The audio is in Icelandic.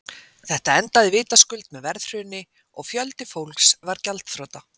Þetta endaði vitaskuld með verðhruni og fjöldi fólks varð gjaldþrota.